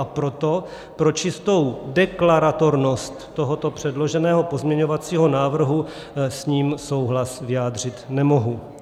A proto, pro čistou deklaratornost tohoto předloženého pozměňovacího návrhu, s ním souhlas vyjádřit nemohu.